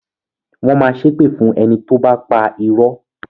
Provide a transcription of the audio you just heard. Wọn máa ṣépè fún ẹni tóbá pa irọ́